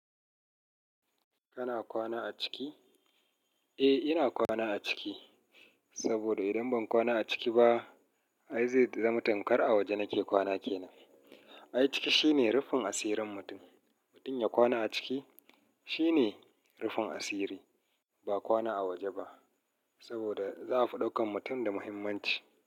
Kana kwana a ciki? Eh, ina kwana a ciki. Saboda idan ban kwana a ciki ba, ai zai zama tamkar a waje nake kwana kenan. Ai ciki shine rufin asirin mutum. Mutum ya kwana a ciki shine rufin asiri, ba kwana a waje ba. Saboda za a faɗaukan mutum da muhimmanci.